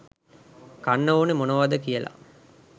කන්න ඕනේ මොනවාද කියලා.